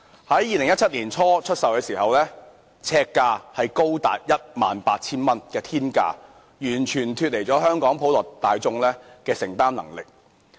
在2017年年初出售時，呎價高達天價 18,000 元，完全脫離了香港普羅大眾的承擔能力。